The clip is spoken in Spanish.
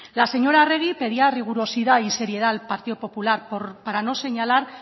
la señora arregi pedía rigurosidad y seriedad al partido popular para no señalar